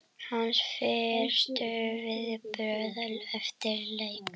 Hans fyrstu viðbrögð eftir leik?